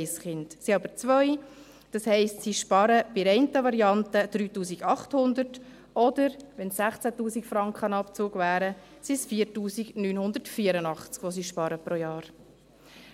Es sind aber zwei Kinder, das heisst, sie sparen bei der einen Variante 3800 Franken, und wenn es 16 000 Franken wären, sind es 4984 Franken, die sie pro Jahr